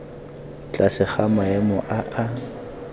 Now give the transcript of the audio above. tlase ga maemo a a